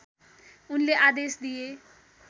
उनले आदेश दिए